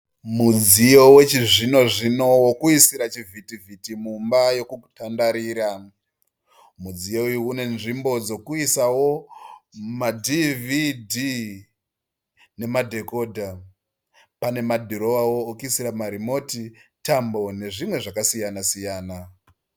Mudziyo wechi zvino zvino wekuisira chivhiti vhiti mumba yokutandarira. Mudziyo uyu une nzvimbo dzokuisao ma dhivhidhii nema dhekodha. Pane madhirowao ekuisira marimoti, tambo nezvimwe zvakasiyana siyana.